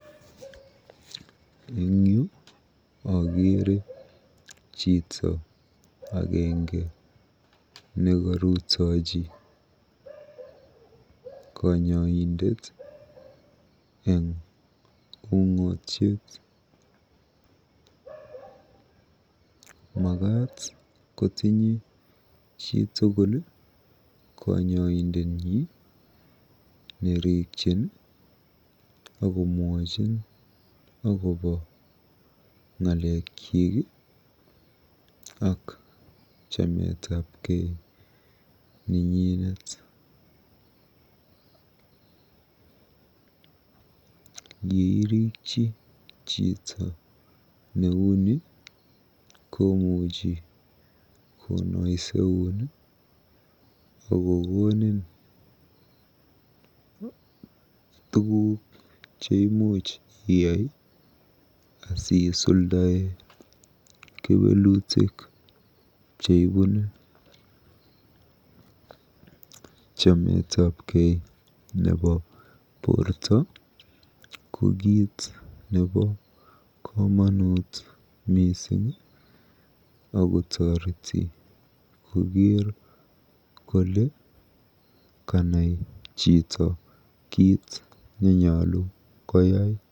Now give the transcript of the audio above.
Eng yu akere chito agenge nekarutichi kanyoindet eng ung'otiet. Makat kotinye chitukul kanyoindetnyi, nerikyin akomwochin akobo ng'alekyik ak chametapkei nenyi. Yeirikyi chito neuni komuchi konoiseun akokonin tuguk cheimuch iyai asiisuldae kewelutik cheibune. Chametapkei nebo borto ko kiit nebo komonut mising akotoreti koker kole kanai chito kiit nenyolu koyai.